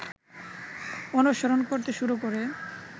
অনুসরণ করতে শুরু করে